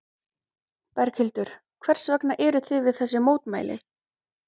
Berghildur: Hvers vegna eruð þið við þessi mótmæli?